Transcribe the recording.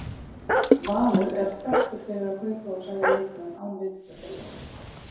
Valur er þekkur fyrir að kaupa og selja leikmenn án vitundar þjálfara.